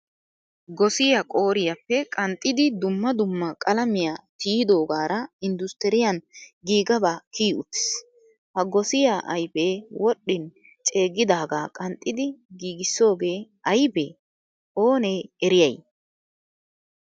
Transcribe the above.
Gosiyaa qooriyappe qanxxidi dumma dumma qalamiyaa tiyidogara industuriyan giigagaba kiyi uttiis. Ha gosiyaa ayfe wodhdhin ceegiidaga qanxxidi giigisoge aybe? Onne eriyay?